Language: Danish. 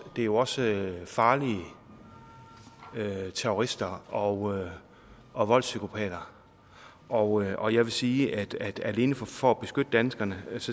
jo også farlige terrorister og og voldspsykopater og og jeg vil sige at alene for at beskytte danskerne